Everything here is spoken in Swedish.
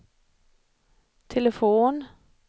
telefon